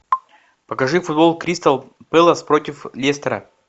покажи футбол кристал пэлас против лестера